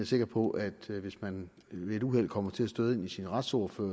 sikker på at hvis man ved et uheld kommer til at støde ind i sin retsordfører